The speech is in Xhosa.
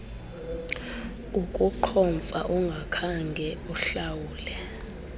ukuqhomfa ungakhange uhlawule